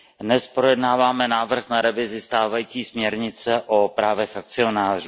Dnes projednáváme návrh na revizi stávající směrnice o právech akcionářů.